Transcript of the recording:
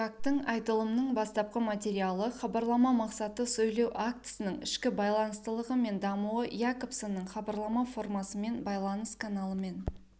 гактың айтылымның бастапқы материалы хабарлама мақсаты сөйлеу актісінің ішкі байланыстылығы мен дамуы якобсонның хабарлама формасымен байланыс каналымен